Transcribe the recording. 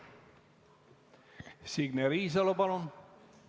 Signe Riisalo, palun!